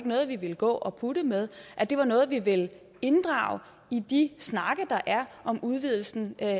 noget vi ville gå og putte med det var noget vi ville inddrage i de snakke der er om udvidelsen af